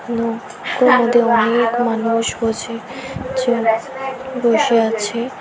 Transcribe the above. নৌকোর মধ্যে অনেক মানুষ বসেছে বসে আছে।